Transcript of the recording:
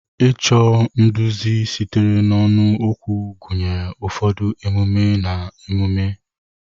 Ịchọ nduzi sitere n'ọnụ okwu gụnyere ụfọdụ emume/ememe.